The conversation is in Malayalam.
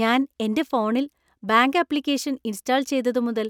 ഞാൻ എന്‍റെ ഫോണിൽ ബാങ്ക് ആപ്ലിക്കേഷൻ ഇൻസ്റ്റാൾ ചെയ്തതുമുതൽ,